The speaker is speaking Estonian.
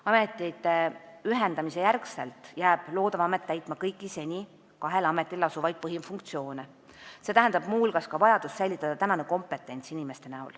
Ametite ühendamise järel jääb loodav amet täitma kõiki seniseid kahe ameti põhifunktsioone, see tähendab muu hulgas vajadust säilitada praegune kompetents ehk töötajad.